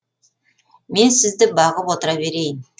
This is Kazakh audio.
мен сізді бағып отыра берейін